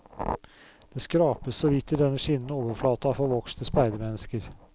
Det skrapes så vidt i denne skinnende overflate av forvokste speidermennesker.